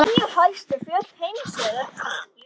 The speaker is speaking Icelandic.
Tíu hæstu fjöll heims eru